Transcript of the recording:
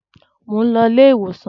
Mò ń lọ ilé-ìwòsàn.